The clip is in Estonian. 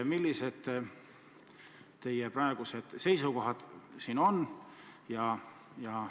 Millised teie praegused seisukohad on?